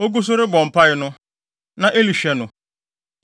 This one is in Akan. Ogu so rebɔ mpae no, na Eli hwɛ no.